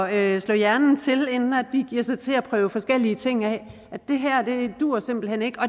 at slå hjernen til inden de giver sig til at prøve forskellige ting af at det her duer simpelt hen ikke og